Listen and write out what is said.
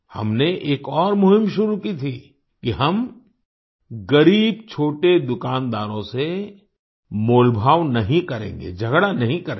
हमने एक और मुहिम शुरू की थी कि हम ग़रीब छोटे दुकानदारों से मोलभाव नहीं करेंगे झगड़ा नहीं करेंगे